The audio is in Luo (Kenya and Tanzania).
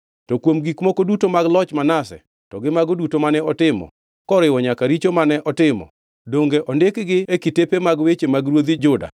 To kuom gik moko duto mag loch Manase, to gi mago duto mane otimo, koriwo nyaka richo mane otimo, donge ondikgi e kitepe mag weche mag ruodhi Juda?